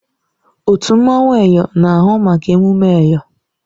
Otu mmanwụ Eyọ na-ahụ maka emume Eyọ.